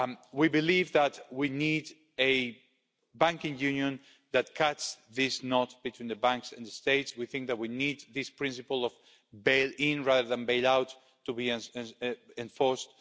We believe that we need a banking union that cuts this knot between the banks and the states. We think that we need this principle of bail-in, rather than bail out, to be enforced.